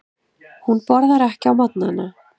Hún borðar ekki á morgnana.